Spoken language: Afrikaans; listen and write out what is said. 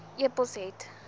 e pos het